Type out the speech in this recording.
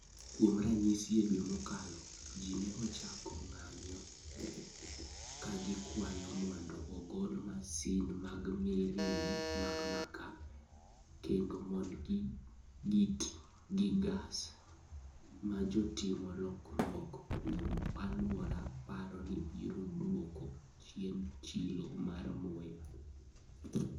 Kuom ranyisi, e dwe mokalo, ji ne ochako ng'anyo ka gikwayo mondo ogol masin mag mirni mag makaa, kendo mondo giti gi gas, ma jotim lokruok kuom alwora paro ni biro dwoko chien chilo mar muya.